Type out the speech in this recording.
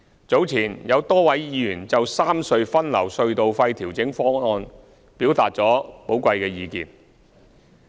早前，有多位議員就三隧分流隧道費調整方案，表達了寶貴的意見。